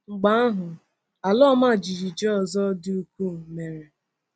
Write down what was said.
Mgbe ahụ, ala ọma jijiji ọzọ dị ukwuu mere